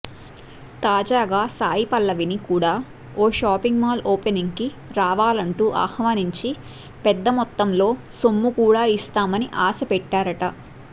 తాజాగా సాయిపల్లవిని కూడా ఓ షాపింగ్ మాల్ ఓపెనింగ్కి రావాలంటూ ఆహ్వానించి పెద్దమొత్తంలో సొమ్ము కూడా ఇస్తామని ఆశ పెట్టారట